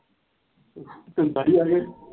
ਸਤਾਲੀ ਆਲੇ ਆ।